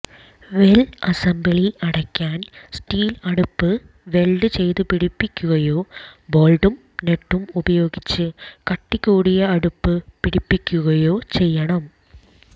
well assembly അടയ്ക്കാൻ steel അടപ്പ് weld ചെയ്ത് പിടിപ്പിക്കുകയോ ബോൾട്ടും നട്ടും ഉപയോഗിച്ച് കട്ടികൂടിയ അടപ്പ് പിടിപ്പിക്കുകയോ ചെയ്യണം